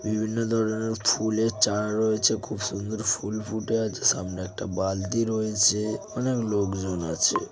বিভিন্ন ধরনের ফুলের চারা রয়েছে খুব সুন্দর ফুল ফুটে আছে সামনে একটা বালতি রয়েছে অনেক লোকজন আছে।